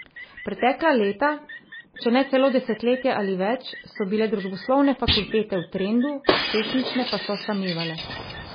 Pretekla leta, če ne celo desetletje ali več, so bile družboslovne fakultete v trendu, tehnične pa so samevale.